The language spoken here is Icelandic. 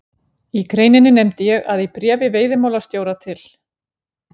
Í greininni nefndi ég að í bréfi veiðimálastjóra til